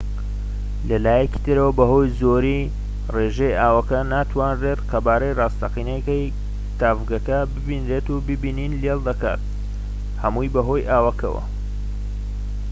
لەلایەکی ترەوە بەهۆی زۆریی ڕێژەی ئاوەکە ناتوانیت قەبارەی ڕاستەقینەی تاڤگەکە ببینیت و بینین لێڵ دەکات هەمووی بەهۆی ئاوەکەوە